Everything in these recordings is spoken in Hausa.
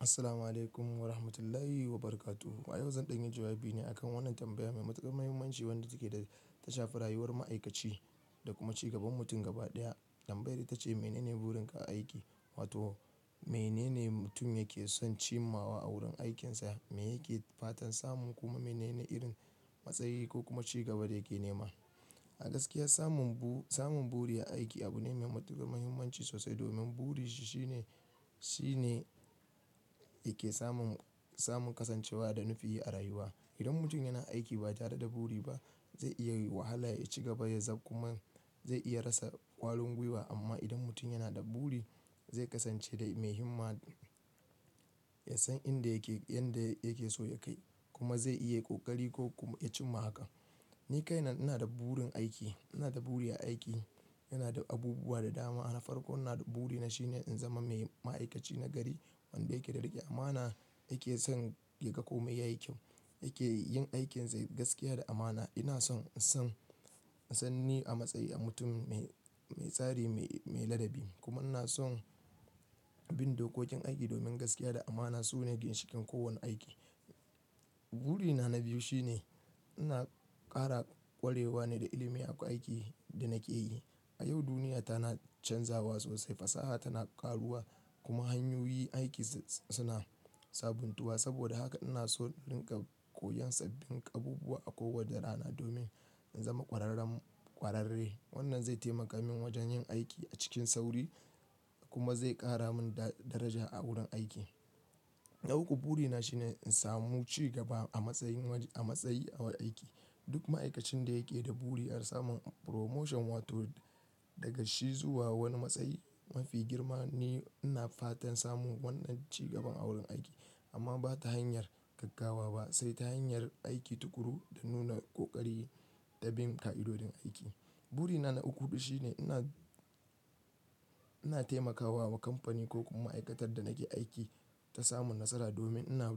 Assalamu'alaikum warahmatullahi wabarakatuh. Ayau zanzu zan ɗanyi jawabi ne akan wannan tambaya mai matuƙar muhimmanci wadda take ta shafar rayuwar ma'aikaci da kuma cigaban mutum gaba ɗaya. Tambayar ita ce "Menene burin ka a aiki?" Wato menene mutum yake son cimawa a wurin aikinsa, me yake fatan samun kuma menene irin matsayi ko kuma cigaba da yake nema. A gaskiya samun bu-samun buri a aiki abu ne mai matuƙar muhimmanci sosai domin buri shi shine, shi ne yake samun, samun kasancewa da nufi a rayuwa. Idan mutum yana aiki ba tare da buri ba, zai iya wahala ya ci gaba ya zab kuma zai iya rasa ƙwarin gwiwa amma idan mutum yana da buri zai kasance mai himma, ya san inda yake, yanda yake so ya kai kuma zai iya ƙoƙari ko kuma ya cimma haka. Ni kaina ina da burin aiki, ina da buri a aiki, yana da abubuwa da dama. Anafarko ina da buri na shine in zama mai ma'aikaci nagari wanda yake da riƙe amana, yake son yaga kome yayi kyau, yake yin aikinsa gaskiya da amana. Ina son, ison, ison ni a matsayi na mutum mai, mai tsari, mai, mai ladabi kuma ina son bin dokokin aiki domin gaskiya da amana su ne ginshikin kowane aiki. Buri na na biyu shine ina kara ƙwarewa ne da ilimi a aikin da nake yi. A yau duniyata na canzawa sosai, fasaha tana ƙaruwa kuma hanyoyi aiki suna sabuntuwa. Saboda haka ina so in rinƙa koyan sabbin abubuwa a kowace rana domin in zama ƙwararren ƙwararre. Wannan zai taimaka min wajen yin aiki a cikin sauri kuma zai ƙara min daraja a wurin aiki. Na uku buri na shine in samu cigaba a matsayin, a matsayi na aiki. Duk ma'aikacin da yake da buri har samun promotion wato daga shi zuwa wani matsayi mafi girma. Ni ina fatan samun wannan cigaban a wurin aiki amma ba ta hanyar gaggawa ba sai ta hanyar aiki tukuru da nuna ƙoƙari da bin ƙa'idodin aiki. Buri na na uku huɗu shine ina, ina taimakawa wa kamfani ko kuma ma'aikatar da nake aiki ta samu nasara domin ina,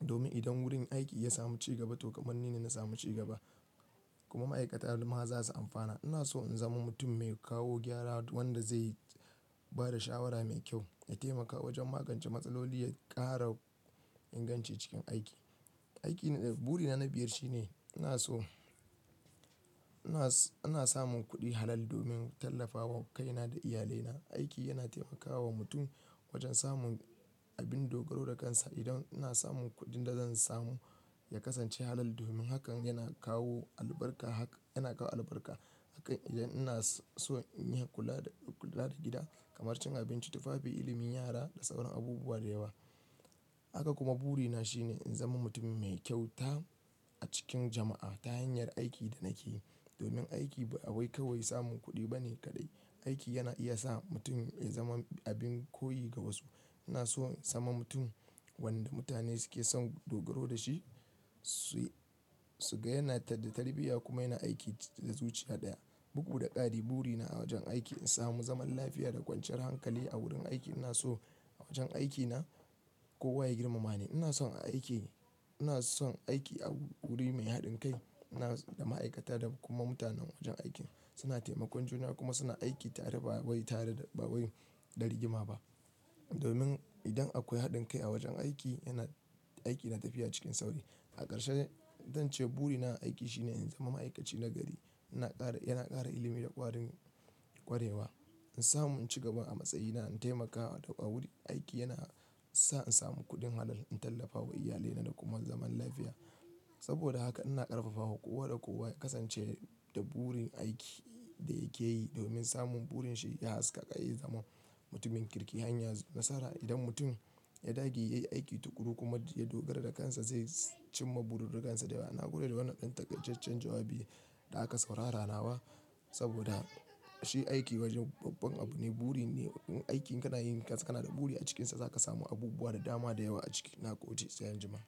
domin idan wurin aiki ya samu cigaba to ƙamanni ne na samu cigaba kuma ma'aikata duka ma za su amfana. Ina so in zama mutum mai kawo gyara wanda zai ba da shawara mai kyau, ya taimaka wajen magance matsaloli, ya ƙara inganci cikin aiki. Aiki, buri na na biyar shine ina so, ina, ina samun kuɗi halaal domin tallafawa kaina da iyalina. Aiki yana taimakawa mutum wajen samun abin dogaro da kansa. Idan ina samun kuɗin da zan samu ya kasance halaal domin hakan yana kawo albarka, hakan yana kawo albarka. Akan idan ina so in yi kula da, kula da gida kamar cin abinci, tufafi, ilimin yara da sauran abubuwa da yawa. Haka kuma buri na shine in zama mutum mai kyauta a cikin jama'a ta hanyar aikin da nake yi. Domin aiki ba kawai samun kuɗi bane kaɗai, aiki yana iya sa mutum ya zama abin koyi ga wasu. Ina so in zama mutum wanda mutane suke son dogaro da shi, su, suga yana da tarbiyya kuma yana aiki da zuciya ɗaya, bugu da ƙari. Buri na a wajen aiki, in samu zaman lafiya da kwanciyar hankali a wurin aiki. Ina so a wajen aikina kowa ya girmama ni. Ina son a aiki, ina son aiki a wuri mai haɗin kai da ma'aikata da kuma mutanen wajen aiki suna taimakon juna kuma suna aiki tare ba wai tare da, ba wai da rigima ba. Domin idan akwai haɗin kai a wajen aiki yana, aiki yana tafiya cikin sauri. A ƙarshe zan ce buri na a aiki shine in zama ma'aikaci nagari, ina ƙara, yana ƙara ilimi da ƙwarin ƙwarewa, in samu in cigaba a matsayina, in taimakawa wuri aiki yana sa in samu kuɗin halal, in tallafawa iyalina da kuma zaman lafiya. Saboda haka ina ƙarfafawa kowa da kowa ya kasance da burin aiki da yake yi domin samun burin shi ya haskaka ya zama mutumin kirki, hanya nasara. Idan mutum ya dage yayi aiki tukuru kuma ya dogara da kansa zai cimma burin dukansa da yawa. Na gode da wannan ɗan taƙaitacen jawabi da aka saurara nawa saboda shi aiki wajen babban abu ne, buri ne. Aiki in kana yi kansa kana da buri a cikinsa za ka samu abubuwa da dama da yawa a ciki. Na gode, sai anjima.